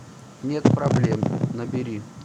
нет проблем набери